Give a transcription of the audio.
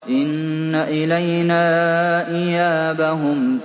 إِنَّ إِلَيْنَا إِيَابَهُمْ